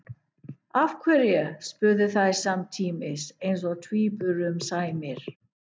Af hverju? spurðu þær samtímis eins og tvíburum sæmir.